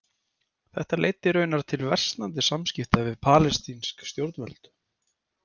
Þetta leiddi raunar til versnandi samskipta við palestínsk stjórnvöld.